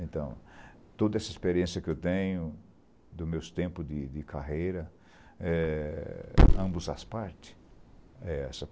Então, toda essa experiência que eu tenho, dos meus tempos de de carreira, eh ambos as partes, é essa.